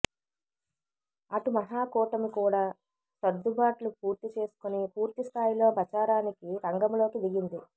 అటు మహాకూటమి కూడా సర్దుబాట్లు పూర్తి చేసుకుని పూర్తిస్థాయిలో ప్రచారానికి రంగంలోకి దిగింది